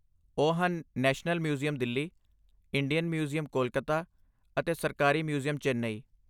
ਉਹ ਹਨ national museum Delhi, Indian museum Kolkata, ਅਤੇ ਸਰਕਾਰੀ ਮਿਊਜ਼ੀਅਮ ਚੇਨਈ।